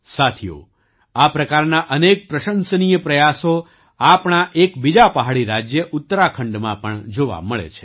સાથીઓ આ પ્રકારના અનેક પ્રશંસનીય પ્રયાસો આપણા એક બીજા પહાડી રાજ્ય ઉત્તરાખંડમાં પણ જોવા મળે છે